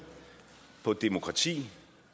på demokrati